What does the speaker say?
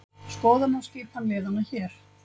Skoða má skipan liðanna hér